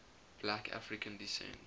black african descent